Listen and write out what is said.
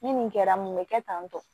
Ni nin kɛra mun bɛ kɛ tan tɔ